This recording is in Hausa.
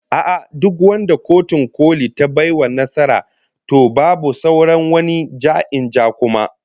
A'a, duk wanda Kotun Koli ta bai wa nasara, to babu sauran wani ja-in-ja kuma